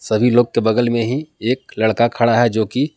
सभी लोग के बगल में ही एक लड़का खड़ा है जोकि--